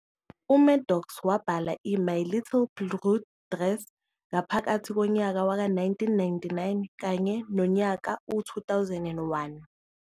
uMaddox wabhala i-"My Little Blue Dress" ngaphakathi komnyaka waka 1999 kanye nomyaka u-2001.